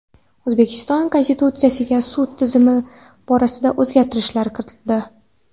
O‘zbekiston Konstitutsiyasiga sud tizimi borasida o‘zgartirish kiritildi.